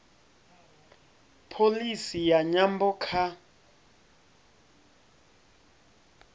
pholisi ya nyambo kha